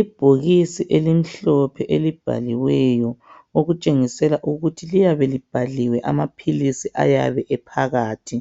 Ibhokisi elimhlophe elibhaliweyo okutshengisela ukuthi liyabe libhaliwe amaphilizi ayabe ephakathi